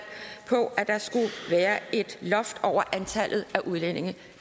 på at der skulle være et loft over antallet af udlændinge